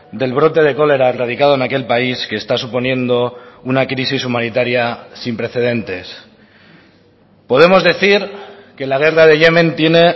del brote de cólera erradicado en aquel país que está suponiendo una crisis humanitaria sin precedentes podemos decir que la guerra de yemen tiene